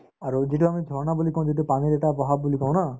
আৰু যিটো আমি jharna বুলি কওঁ যিটো পানীৰ এটা বুলি কওঁ না